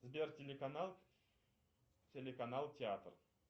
сбер телеканал телеканал театр